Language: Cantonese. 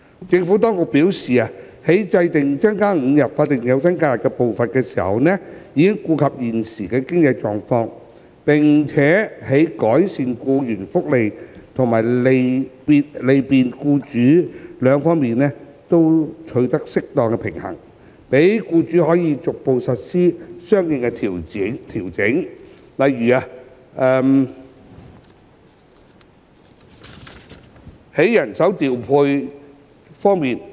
政府當局表示，在制訂增加5日法定假日的步伐時，已顧及現時的經濟情況，並在改善僱員福利和利便僱主兩方面取得適當平衡，讓僱主可逐步實施相應調整，例如人手調配。